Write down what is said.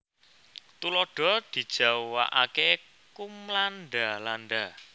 Tuladha dijawakaké kumlanda landa